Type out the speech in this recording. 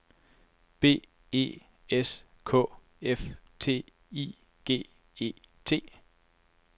B E S K Æ F T I G E T